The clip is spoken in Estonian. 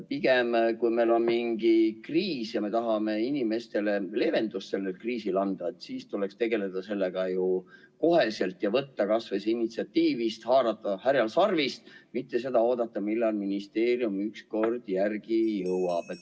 Aga kui meil on mingi kriis ja me tahame inimestele selles kriisis leevendust anda, siis tuleks sellega tegeleda kohe ja võtta initsiatiiv, haarata härjal sarvist, mitte oodata, millal ministeerium ükskord järele jõuab.